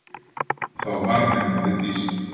Þá harðneitaði Dísa.